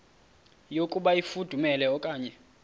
yokuba ifudumele okanye